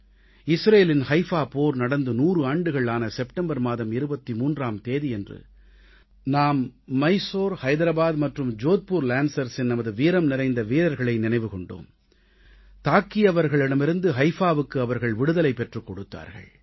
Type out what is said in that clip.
இஸ்ரேலின் ஹைஃபா போர் நடந்து 100 ஆண்டுகள் ஆன செப்டம்பர் மாதம் 23ஆம் தேதியன்று நாம் மைசூர் ஐதராபாத் மற்றும் ஜோத்பூர் lancersஇன் நமது வீரம் நிறைந்த வீரர்களை நினைவில் கொண்டோம் தாக்கியவர்களிடமிருந்து ஹைஃபாவுக்கு அவர்கள் விடுதலை பெற்றுக் கொடுத்தார்கள்